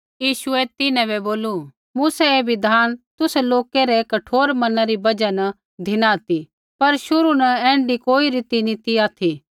यीशुऐ तिन्हां बै बोलू मूसै ऐ बिधान तुसा लोकै रै कठोर मना री बजहा न धिना ती पर शुरू न ऐण्ढी कोई रीति नी ती ऑथि